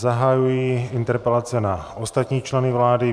Zahajuji interpelace na ostatní členy vlády.